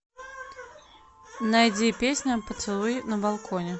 найди песня поцелуй на балконе